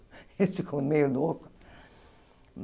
Eles ficam meio louco.